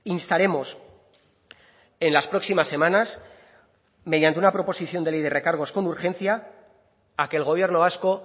instaremos en las próximas semanas mediante una proposición de ley de recargos con urgencia a que el gobierno vasco